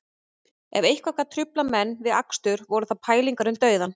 Ef eitthvað gat truflað menn við akstur voru það pælingar um dauðann